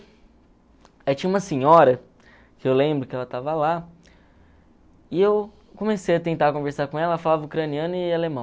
Aí tinha uma senhora, que eu lembro que ela estava lá, e eu comecei a tentar conversar com ela, falava ucraniano e alemão.